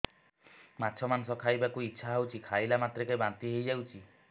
ମାଛ ମାଂସ ଖାଇ ବାକୁ ଇଚ୍ଛା ହଉଛି ଖାଇଲା ମାତ୍ରକେ ବାନ୍ତି ହେଇଯାଉଛି